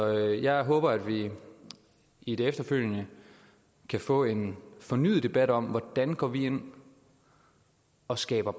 jeg håber at vi i det efterfølgende kan få en fornyet debat om hvordan vi går ind og skaber